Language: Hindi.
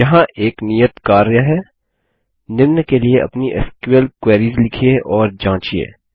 यहाँ एक नियत कार्य है निम्न के लिए अपनी एसक्यूएल क्वेरीस लिखिए और जाँचिये